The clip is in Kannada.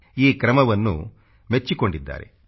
ಈ ಕ್ರಮವನ್ನು ಮೆಚ್ಚಿಕೊಂಡಿದ್ದಾರೆ